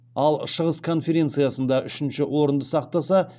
ал шығыс конференциясында үшінші орынды сақтаса